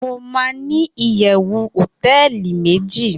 mo ma ni iyewu hoteeli meji